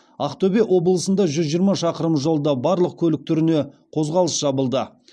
ақтөбе облысында жүз жиырма шақырым жолда барлық көлік түріне қозғалыс жабылды